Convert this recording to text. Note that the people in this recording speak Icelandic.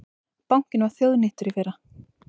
Bankinn var þjóðnýttur í fyrra